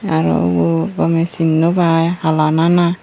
aro ubo gome sin nw pai hala nana.